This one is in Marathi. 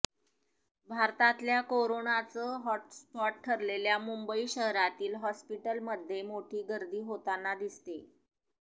भारतातल्या कोरोनाचं हॉटस्पॉट ठरलेल्या मुंबई शहरातही हॉस्पिटलमध्ये मोठी गर्दी होताना दिसतेय